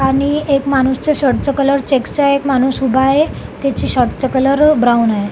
आणि एक माणूस च्या शर्ट च कलर चेकस च आहे एक माणूस उभा आहे त्याचे शर्ट च कलर ब्राऊन आहे.